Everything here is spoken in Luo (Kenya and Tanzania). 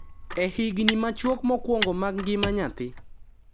e higni machuok mokwongo mag ngima nyathi,